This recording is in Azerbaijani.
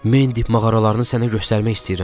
Mendiq mağaralarını sənə göstərmək istəyirəm.